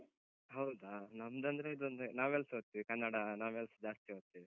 ಹೌದಾ? ನಮ್ದಂದ್ರೆ ಇದೊಂದು novels ಓದ್ತೀವಿ. ಕನ್ನಡ novels ಜಾಸ್ತಿ ಓದ್ತೇವೆ.